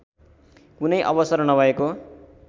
कुनै अवसर नभएको